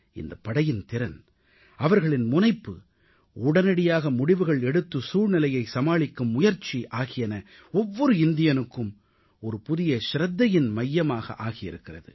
இந்தப் படையின் திறன் அவர்களின் முனைப்பு உடனடியாக முடிவுகள் எடுத்து சூழ்நிலையை சமாளிக்கும் முயற்சி ஆகியன ஒவ்வொரு இந்தியனுக்கும் ஒரு புதிய சிரத்தையின் மையமாக ஆகியிருக்கிறது